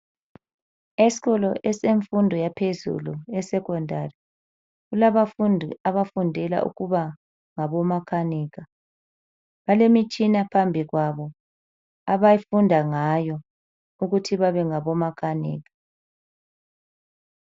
Esikolo esemfundo yaphezulu esecondary kulabafundi abafundela ukuba ngabomakanika. Balemitshina phambi kwabo abayifunda ngayo ukuthi babe ngabo makanika.